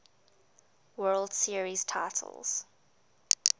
world series titles